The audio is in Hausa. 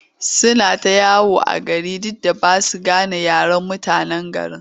Suna ta yawo a gari duk da ba sa gane yaren mutanen garin.